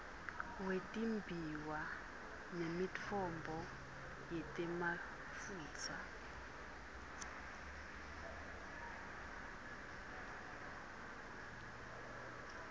wetimbiwa nemitfombo yetemafutsa